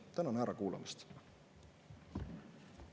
Tänan ära kuulamast!